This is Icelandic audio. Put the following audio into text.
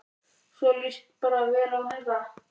Svo þér líst bara vel á þetta?